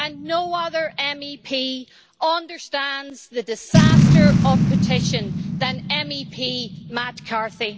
No other MEP understands the disaster of partition better than MEP Matt Carthy.